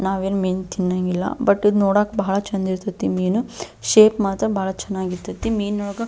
ನಾವು ಏನು ಮೀನು ತಿನ್ನಂಗಿಲ್ಲ ಬಟ್ ಇದು ನೋಡಕೆ ಭಾಳ ಚಂದ ಇರತೈತಿ ಮೀನು ಶೇಪ್ ಮಾತ್ರ ಭಾಳ ಚೆನ್ನಾಗಿರತೈತಿ ಮೀನು ಒಳಗೆ.